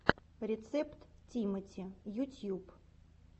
рецепт тимати ютьюб